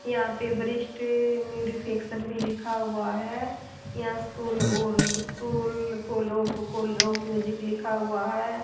यहां पे वरिष्ठ मेरी फ़िक्सन भी लिखा हुआ है यहां स्कूल और स्कूल कोलोफ कोलोफ म्यूजिक लिखा हुआ है।